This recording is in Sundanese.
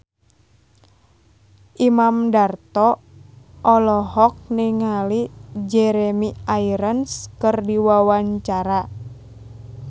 Imam Darto olohok ningali Jeremy Irons keur diwawancara